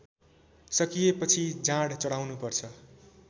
सकिएपछि जाँड चढाउनुपर्छ